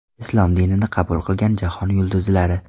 Islom dinini qabul qilgan jahon yulduzlari .